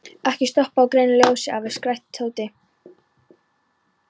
Ekki stoppa á grænu ljósi, afi! skrækti Tóti.